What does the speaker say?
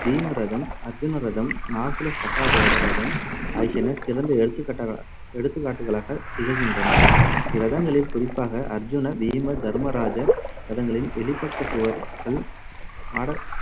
பீம ரதம், அர்ஜுன ரதம், நகுல சகாதேவ ரதம் ஆகியன சிறந்த எடுத்துக்காட்டகளா~ எடுத்துக்காட்டுகளாகத் திகழ்கின்றன. ரதங்களில் குறிப்பாக அர்ஜுன, பீம, தர்மராஜ ரதங்களின் வெளிப்பக்கச் சுவர்கள் மாட